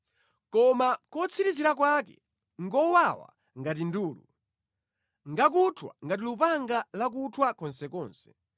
koma kotsirizira kwake ngowawa ngati ndulu; ngakuthwa ngati lupanga lakuthwa konsekonse.